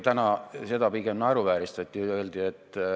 Täna seda pigem naeruvääristati.